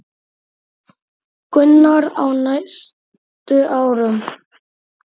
Gunnar: Á næstu árum?